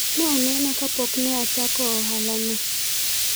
ne onena ka pok ne achako ohala no